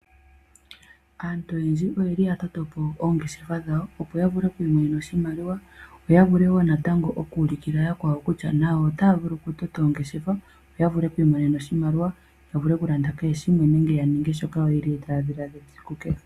Aantu oyendji oyeli ya toto po oongeshefa dhawo opo ya vule oku imonena oshimaliwa. Yo ya vule wo natango oku ulukila yakwawo kutya nayo otaya vulu okutota oongeshefa yo ya vule oku imonena oshimaliwa. Ya vule okulanda kehe shimwe nenge ya ninge shoka yo yeli taya dhiladhila esiku kehe.